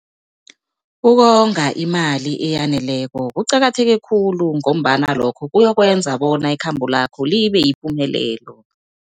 Ukonga imali eyaneleko kuqakatheke khulu, ngombana lokho kuyokwenza bona ikhambo lakho libe yipumelelo.